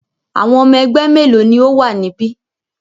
Àwọn ọmọ ẹgbẹ́ mélòó ni ó wà níbí?